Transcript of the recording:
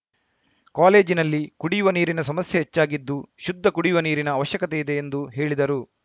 ಕಾಲೇಜಿನಲ್ಲಿ ಕುಡಿಯುವ ನೀರಿನ ಸಮಸ್ಯೆ ಹೆಚ್ಚಾಗಿದ್ದು ಶುದ್ಧ ಕುಡಿಯುವ ನೀರಿನ ಅವಶ್ಯಕತೆ ಇದೆ ಎಂದು ಹೇಳಿದರು